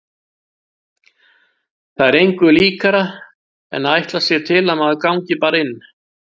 Það er engu líkara en að ætlast sé til að maður gangi bara inn.